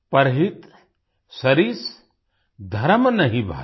परहित सरिस धरम नहीं भाई